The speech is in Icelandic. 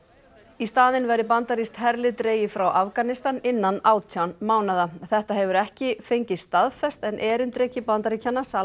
í staðinn verði bandarískt herlið dregið frá Afganistan innan átján mánaða þetta hefur ekki fengist staðfest en erindreki Bandaríkjanna